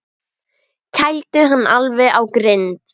Kældu hann alveg á grind.